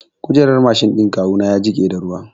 Kujerar Mashin ɗin kawu ya jiƙe da ruwa